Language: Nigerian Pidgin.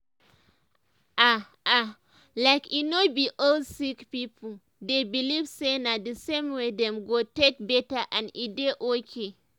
ah ah like eh no be all sick pipo dey believe say na d same way dem go take better and e dey okay.